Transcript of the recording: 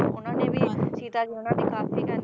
ਉਹਨਾਂ ਨੇ ਵੀ ਹਾਂਜੀ ਸੀਤਾ ਦੀ ਉਹਨਾਂ ਨੇ ਕਾਫੀ